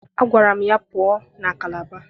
Agwara m ya pụọ na Kalaba!